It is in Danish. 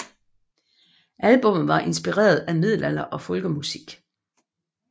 Albummet var inspireret af middelalder og folkemusik